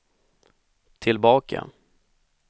tillbaka